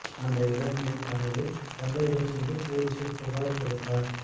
அந்த இளம் பெண் தனது தந்தையுடன் சென்று போலீசில் புகார் கொடுத்தார்